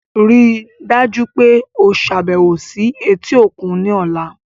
Rii daju pe o ṣabẹwo si eti okun ni ọla